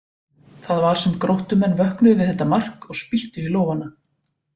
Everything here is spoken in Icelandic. Það var sem Gróttumenn vöknuðu við þetta mark og spýttu í lófana.